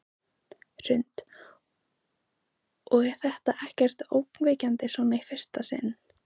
Hrund: Og er þetta ekkert ógnvekjandi svona í fyrsta sinn?